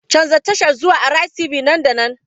Canza tashar zuwa Araiz TV nan da nan!